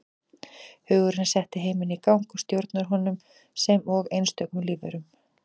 Hugurinn setti heiminn í gang og stjórnar honum sem og einstökum lífverum.